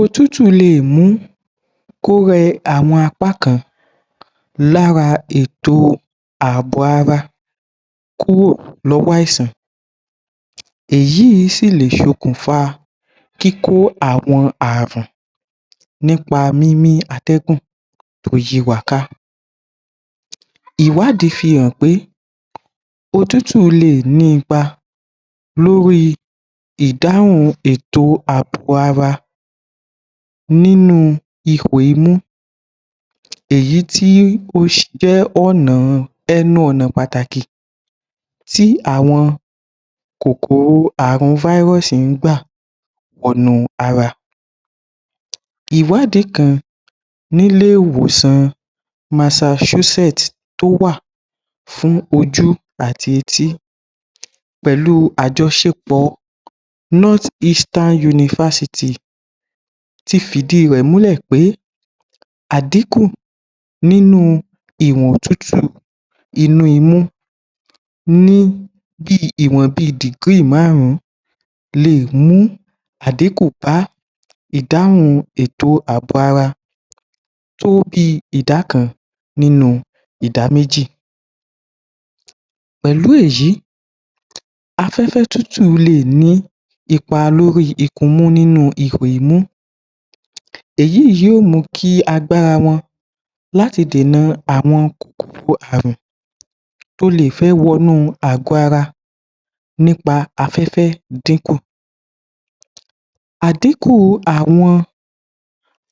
Otútù le è mú kó rẹ àwọn apá kan lára ètò àbò ara kúrò lọ́wọ́ àìsàn èyí ìí sì lè ṣokùnfa kíkó àwọn ààrùn nípa mímí atẹ́gùn tó yí wa ká. Ìwádìí fi hàn pé otútù le è ní ipa ìdáhùn ètò àbò ara nínú ipò imú èyí tí ó jẹ́ ẹnu ọ̀nà pàtàkì tí àwọn kòkòrò àrùn viruses fáríọ́sì ń gbà wọnú ara. Ìwádìí kan nílé ìwòsàn Massachusetts tó wà fú ojú àti etí pẹ̀lú àjọṣepọ̀ North-Eastern University ti fìdí i rẹ̀ múlẹ̀ pé àdínkù nínú ìwọ̀n òtútù inú imú ní bí i ìwọ̀n bí i degree dìgírì márùn-ún le è mú àdínkù bá ìdáhùn ètò àbò ara tó bí i ìdá kan nínú ìdá méjì pẹ̀lú èyí aféfẹ́ tútù le è ní ipa lórí ikun imú nínú ihò imú èyí ì yóò mú kí agbára wọn láti dènà àwọn kòkòro àrùn tó le è fẹ́ wọ nú àgọ́ ara nípa afẹ́fẹ́ dínkù. Àdínkù àwọn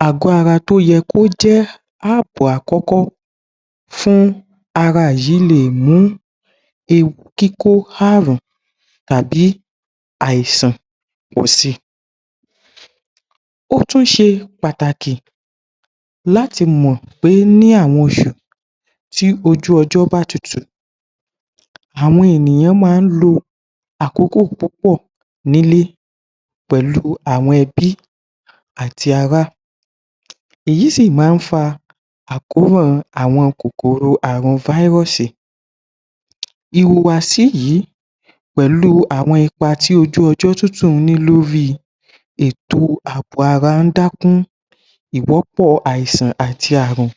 àgọ́ ara tó yẹ kó jẹ́ àbò àkọ́kọ́ fún ara yìí le è mú ewu kíkó àrùn tàbí àìsàn pọ̀ si. Ó tún ṣe pàtàkì láti mọ̀ pé ní àwọn oṣù tí ojú ọjọ́ bá tutù àwọn ènìyàn ma ń lo àkókò púpọ̀ nílé pẹ̀lú àwọn ẹbí àti ara èyí sì má ń fa àrùn àkóràn àwọn àrùn viruses. Ìhùwàsí yìí pẹ̀lú àwọn ipa tí ojú ọjọ́ tútù ní lórí ètò àbò ara ń dákún ìwọ́pọ̀ àìsàn àti àrùn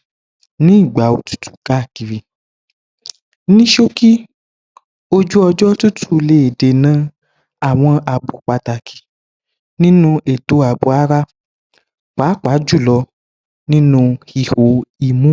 ní ìgbà òtútù káàkiri. Ní ṣókí, ojú ọjọ́ tútù le è dènà àwọn àbò pàtàkì nínú ètò àbò ara pàápàá jùlọ nínú ihò imú.